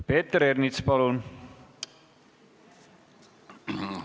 Peeter Ernits, palun!